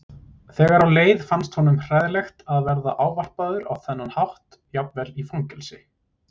Þegar á leið fannst honum hræðilegt að vera ávarpaður á þennan hátt jafnvel í fangelsi.